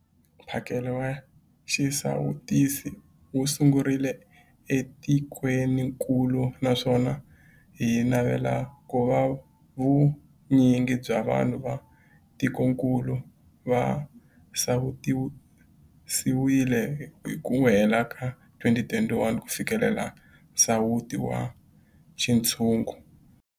Mphakelo wa xisawutisi wu sungurile etikwenikulu naswona hi navela ku va vu nyingi bya vanhu va tikokulu va sawutisiwile hi ku hela ka 2021 ku fikelela nsawuto wa xintshungu.